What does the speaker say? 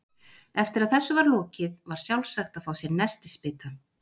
Eftir að þessu var lokið var sjálfsagt að fá sér nestisbita.